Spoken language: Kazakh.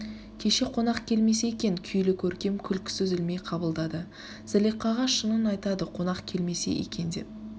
кеше қонак келмесе екен күйлі көркем күлкісі үзілмей қабылдады зылиқаға шынын айтады қонақ келмесе екен деп